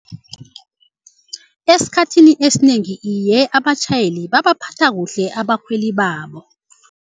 Esikhathini esinengi iye abatjhayeli babaphatha kuhle abakhweli babo.